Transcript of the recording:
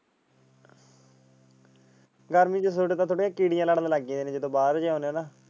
ਗਰਮੀ ਤਾਂ ਚੜੇ ਕੋਲੇ ਚਿੜੀਆਂ ਲੜਨ ਲਗ ਜਾਂਦੀਆਂ ਜਿਵੇ ਬਾਹਰ ਜਾਂਦਾ ਨਾ।